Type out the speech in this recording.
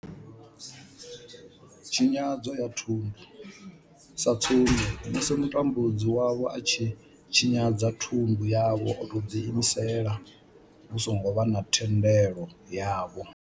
Tshinyadzo ya thundu sa tsumbo, musi mutambudzi wavho a tshi tshinyadza thundu yavho o tou ḓi imisela hu songo vha na thendelo yavho.